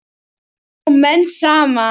Ná menn saman?